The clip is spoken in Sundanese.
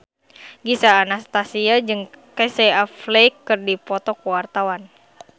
Gisel Anastasia jeung Casey Affleck keur dipoto ku wartawan